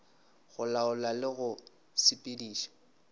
go laola le go sepediša